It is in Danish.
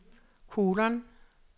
kolon